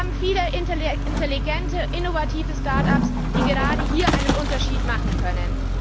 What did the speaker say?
Aber wir haben viele intelligente, innovative Start ups, die gerade hier einen Unterschied machen können.